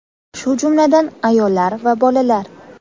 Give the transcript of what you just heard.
shu jumladan ayollar va bolalar.